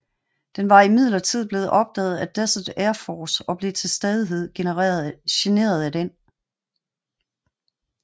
Den var imidlertid blevet opdaget af Desert Air Force og blev til stadighed generet af den